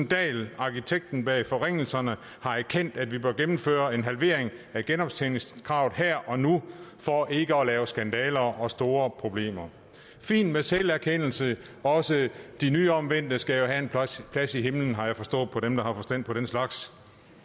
dahl arkitekten bag forringelserne har erkendt at vi bør gennemføre en halvering af genoptjeningskravet her og nu for ikke at lave skandaler og få store problemer fint med selverkendelse også de nyomvendte skal have en plads i himlen har jeg forstået på dem der har forstand på den slags